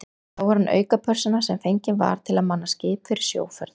Þá var hann aukapersóna sem fengin var til að manna skip fyrir sjóferð.